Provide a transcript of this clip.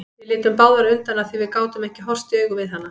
Við litum báðar undan af því að við gátum ekki horfst í augu við hana.